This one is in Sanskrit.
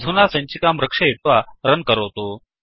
अधुना सञ्चिकां रक्षयित्वा रन् करोतु